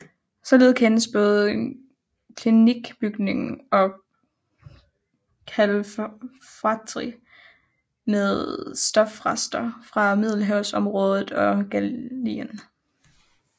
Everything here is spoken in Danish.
Således kendes både klinkbygning og kalfatring med stofrester fra Middelhavsområdet og Gallien